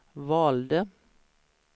valde